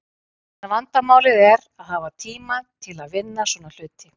En vandamálið er að hafa tíma til að vinna svona hluti.